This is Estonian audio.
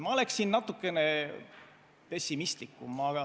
Ma oleksin natukene pessimistlikum.